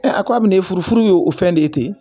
a ko abini furu ye wo fɛn de ye ten